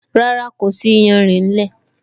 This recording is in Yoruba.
Rárá, kò sí iyanrìn nílẹ́